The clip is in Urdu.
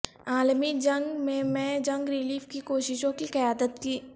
عالمی جنگ میں میں جنگ ریلیف کی کوششوں کی قیادت کی